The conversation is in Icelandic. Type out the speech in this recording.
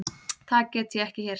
Það get ég ekki hér.